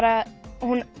að